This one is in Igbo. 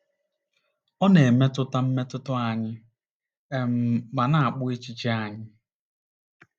Ọ na-emetụta mmetụta anyị um ma na-akpụ echiche anyị.